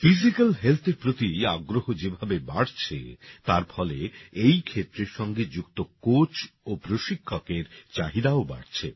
physical Healthএর প্রতি আগ্রহ যেভাবে বাড়ছে তার ফলে এই ক্ষেত্রের সঙ্গে যুক্ত কোচ ও প্রশিক্ষকের চাহিদাও বাড়ছে